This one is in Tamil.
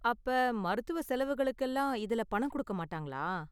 அப்ப, மருத்துவ செலவுகளுக்கெல்லாம் இதுல பணம் கொடுக்க மாட்டாங்களா?